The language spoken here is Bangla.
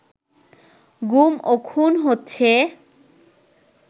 গুম ও খুন হচ্ছে